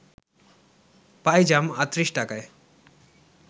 পাইজাম ৩৮ টাকায়